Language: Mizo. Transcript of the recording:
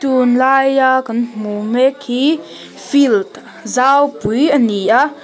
tunlaia kan hmu mek hi field zaupui a ni a--